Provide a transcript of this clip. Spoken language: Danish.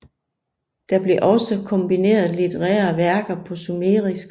Der blev også komponeret litterære værker på sumerisk